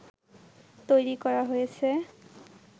তৈরি করা হয়েছে